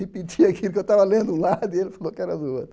Repetia aquilo que eu estava lendo um lado e ele falou que era do outro.